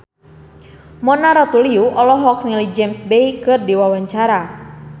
Mona Ratuliu olohok ningali James Bay keur diwawancara